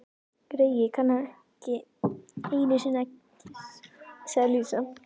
Greyið, kann ekki einusinni að kyssa, sagði Lísa.